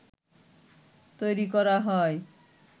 তৈরী করা হয়